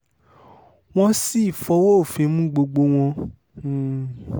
wọ́n sì fọwọ́ òfin mú gbogbo wọn um